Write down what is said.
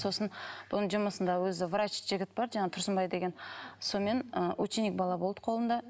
сосын бұның жұмысында өзі врач жігіт бар жаңағы тұрсынбай деген сонымен ы ученик бала болды қолында